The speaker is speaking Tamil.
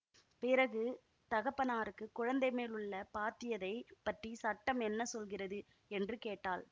பிறகு தகப்பனாருக்குக் குழந்தைமேல் உள்ள பாத்தியதைப் பற்றி சட்டம் என்ன சொல்கிறது என்று கேட்டாள்